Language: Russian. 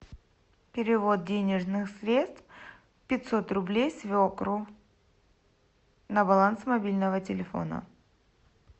перевод денежных средств пятьсот рублей свекру на баланс мобильного телефона